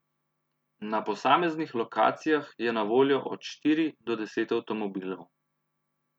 Na posameznih lokacijah je na voljo od štiri do deset avtomobilov.